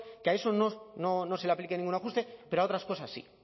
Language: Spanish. que a eso no se le aplique ningún ajuste pero a otras cosas sí